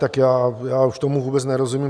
Tak já už tomu vůbec nerozumím.